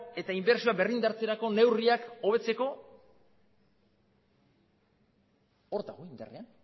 eta inbertsioak berrindartzeko neurriak hobetzeko hor dago